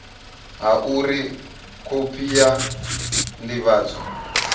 ha uri khophi ya ndivhadzo